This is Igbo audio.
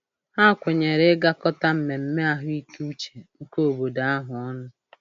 Ha kwenyere ịgakọta mmemme ahụikeuche nke obodo ahụ ọnụ.